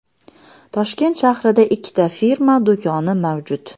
Toshkent shahrida ikkita firma do‘koni mavjud.